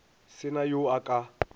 se na yo a ka